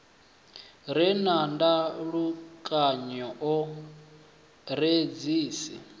re na ndalukanyo o redzhisi